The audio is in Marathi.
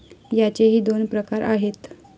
याचेही दोन प्रकार आहेत.